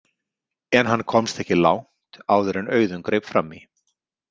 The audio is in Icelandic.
En hann komst ekki langt áður en Auðunn greip fram í.